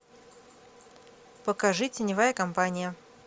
покажи теневая компания